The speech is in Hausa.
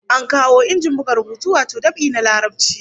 An kawo injin buga rubutu wato dab'i na Larabci